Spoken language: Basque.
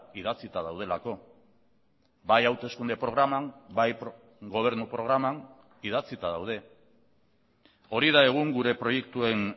idatzita daudelako bai hauteskunde programan bai gobernu programan idatzita daude hori da egun gure proiektuen